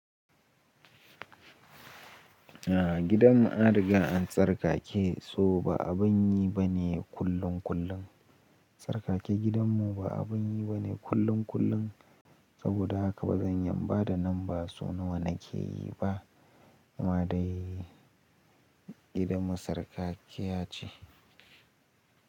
A gidanmu an riga an tsarkake, so ba abun yi bane kullum kullum. Tsarkake gidanmu ba abun yi bane kullum kullum, saboda haka ba zan iya inbada nan ba so nawa na ke yi ba. Amma dai gidanmu tsarkakiyya ce.